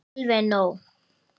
Alveg nóg.